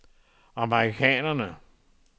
amerikanerne